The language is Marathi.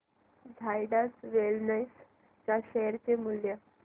झायडस वेलनेस च्या शेअर चे मूल्य